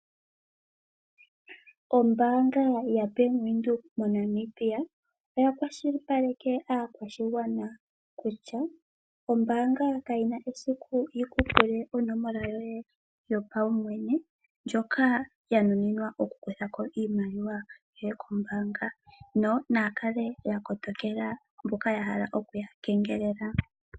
Ombaanga yabank Windhoek moNamibia oya kwashilipaleke aakwashigwana kutya ombaanga kayi na esiku yi kupule onomola yoye yopaumwene ndjoka yanuninwa oku kutha ko iimaliwa yoye kombaanga, ano naya kale yakotokela mboka yahala okuya kengelela.